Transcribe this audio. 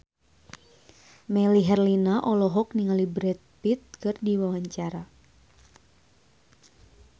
Melly Herlina olohok ningali Brad Pitt keur diwawancara